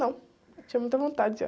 Não, eu tinha muita vontade já.